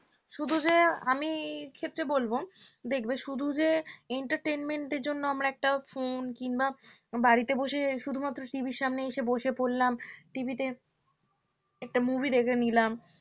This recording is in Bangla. শুধু যে আমি এক্ষেত্রে বলব দেখবে শুধু যে entertainment এর জন্য একটা phone কিংবা বাড়িতে বসে শুধুমাত্র TV র সামনে এসে বসে পড়লাম TV তে একটা movie দেখে নিলাম